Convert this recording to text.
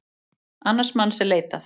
Annars manns er leitað